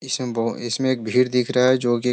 इसमें बो इसमें एक बहुत भीड़ दिख रही है।